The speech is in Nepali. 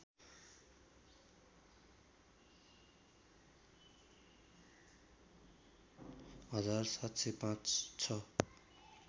हजार ७०५ छ